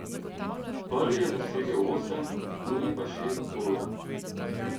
Prvi je dosegel osem, drugi pa šest golov.